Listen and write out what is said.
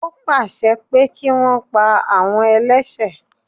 Ó pàṣẹ pé kí wọn pa àwọn ẹlẹ́sẹ̀